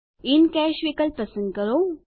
in cash વિકલ્પ પસંદ કરો